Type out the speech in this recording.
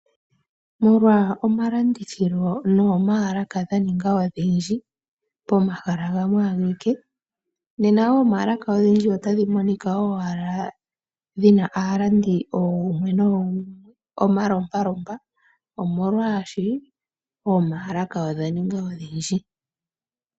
Molwa omalandithilo nomaalaka dhaninga odhindji pomahala gamwe ageke . Ne na womaalaka odhindji otadhi monika owala dhina aalandi ogumwe nogumwe . Omalompalompa omolwaashi oomalaka odha ninga odhindji.